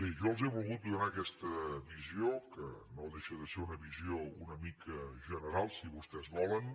jo els he volgut donar aquesta visió que no deixa de ser una visió una mica general si vostès volen